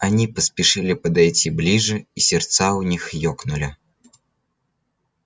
они поспешили подойти ближе и сердца у них ёкнули